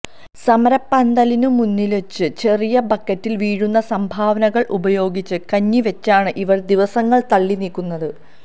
സമരപ്പന്തലിനു മുന്നില്വച്ച ചെറിയ ബക്കറ്റില് വീഴുന്ന സംഭാവനകള് ഉപയോഗിച്ച് കഞ്ഞിവച്ചാണ് ഇവര് ദിവസങ്ങള് തള്ളിനീക്കുന്നത്